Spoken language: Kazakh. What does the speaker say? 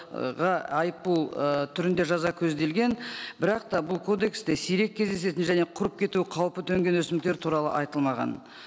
айыппұл ы түрінде жаза көзделген бірақ та бұл кодексте сирек кездесетін және құрып кетуі қаупі төнген өсімдіктер туралы айтылмаған